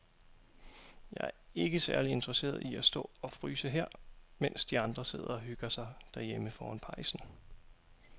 Jeg er ikke særlig interesseret i at stå og fryse her, mens de andre sidder og hygger sig derhjemme foran pejsen.